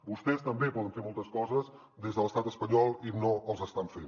vostès també poden fer moltes coses des de l’estat espanyol i no les estan fent